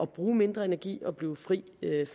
bruge mindre energi og blive fri